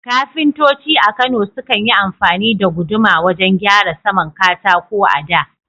Kafintoci a Kano sukan yi amfani da guduma wajen gyara saman katako a da.